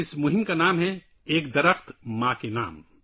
اس مہم کا نام ہے – ‘ایک پیڑ ماں کے نام’